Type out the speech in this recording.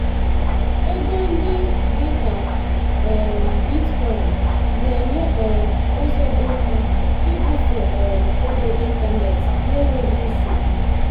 ego ndị dị ka um bitcoin na-enye um ụzọ dị mma ibufe um ego n'ịntanetị n'enweghị nsogbu.